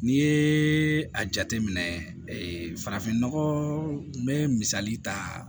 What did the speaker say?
N'i ye a jateminɛ farafinnɔgɔn bɛ misali ta